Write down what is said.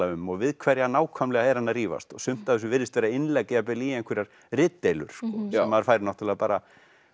um og við hverja nákvæmlega er hann að rífast sumt af þessu virðist vera innlegg jafnvel í einhverjar ritdeilur sem maður fær náttúrulega bara